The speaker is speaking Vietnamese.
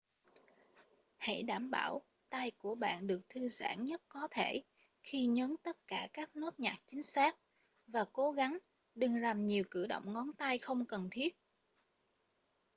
hãy đảm bảo tay của bạn được thư giãn nhất có thể khi nhấn tất cả các nốt nhạc chính xác và cố gắng đừng làm nhiều cử động ngón tay không cần thiết